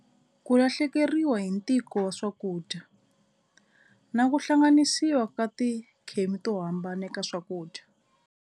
Ku lahlekeriwa hi ntiko wa swakudya na ku hlanganisiwa ka tikhemi to hambana eka swakudya.